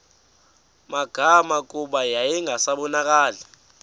magama kuba yayingasabonakali